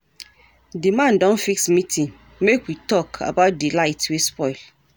Di man don fix meeting make we tok about di light wey spoil.